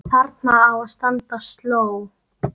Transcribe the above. Þarna á að standa sló.